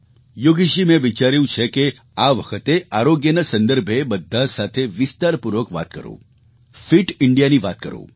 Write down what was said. યોગેશજી મેં વિચાર્યું છે કે આ વખતે આરોગ્યના સંદર્ભે બધા સાથે વિસ્તારપૂર્વક વાત કરું ફિટ Indiaની વાત કરું